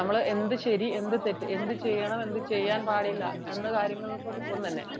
നമ്മൾ എന്ത് ശരി എന്ത് തെറ്റ് എന്ത് ചെയ്യണം എന്ത് ചെയ്യാൻ പാടില്ല എന്ന കാര്യങ്ങൾക്കൊപ്പം തന്നെ